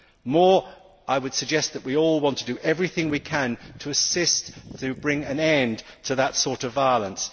More, I would suggest that we all want to do everything we can to help bring an end to that sort of violence.